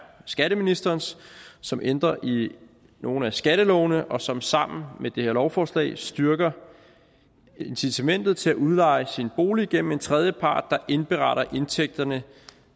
skatteministerens som ændrer i nogle af skattelovene og som sammen med det her lovforslag styrker incitamentet til at udleje sin bolig gennem en tredjepart der indberetter indtægterne